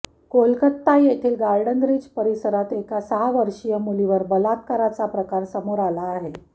कोलकाता येथली Garden Reach परिसरात एका सहा वर्षीय मुलीवर बलात्काराचा प्रकार समोर आला आहे